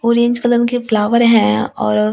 orange colour के flower है और--